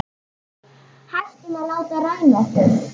Hættum að láta ræna okkur.